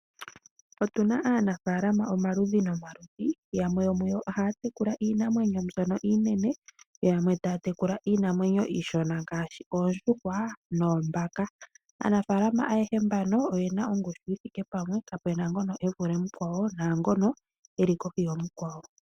Otu na aanafaalama omaludhi nomaludhi yamwe yomuyo oha ya tekula iinamwenyo mbyono iinene, yamwe ta ya tekula iinamwenyo iishona ngaashi oondjuhwa noombaka, aanafaalama ayehe mbano oye na ongushu yi thike pamwe, kapu na ngono evule mukwawo naangono eli kohi yamukwawo.